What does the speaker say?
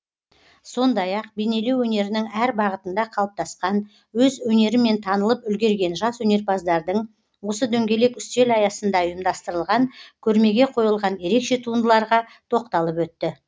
сондай ақ бейнелеу өнерінің әр бағытында қалыптасқан өз өнерімен танылып үлгерген жас өнерпаздардың осы дөңгелек үстел аясында ұйымдастырылған көрмеге қойылған ерекше туындыларға тоқталып өтті